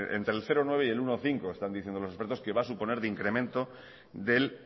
entre el cero coma nueve por ciento y el uno coma cinco por ciento están diciendo los expertos que va a suponer de incremento del